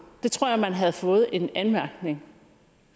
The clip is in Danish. det tror jeg man havde fået en anmærkning